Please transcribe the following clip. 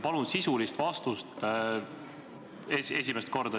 Palun sisulist vastust!